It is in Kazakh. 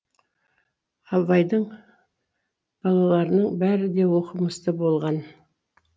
абайдың балаларының бәрі де оқымысты болған